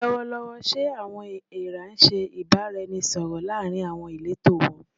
Lọwọlọwọ, ṣe "awọn eera" ṣe ibaraẹnisọrọ laarin awọn ileto wọn?